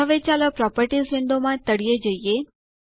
હવે ચાલો પ્રોપર્ટીઝ વિન્ડોમાં તળિયે જઈએ